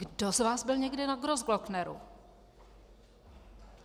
Kdo z vás byl někdy na Grossglockneru?